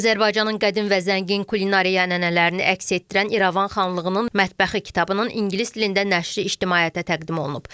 Azərbaycanın qədim və zəngin kulinariya ənənələrini əks etdirən İrəvan xanlığının mətbəxi kitabının ingilis dilində nəşri ictimaiyyətə təqdim olunub.